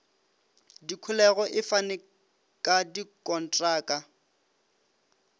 dikholego e fane ka dikontraka